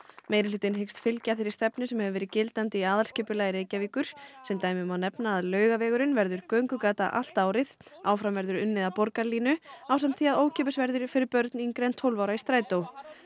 meirihlutinn hyggst fylgja þeirri stefnu sem hefur verið í gildandi aðalskipulagi Reykjavíkur sem dæmi má nefna að Laugavegurinn verður göngugata allt árið áfram verður unnið að Borgarlínu ásamt því að ókeypis verður fyrir börn yngri en tólf ára í strætó